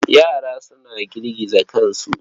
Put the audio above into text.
Yara suna girgiza kansu.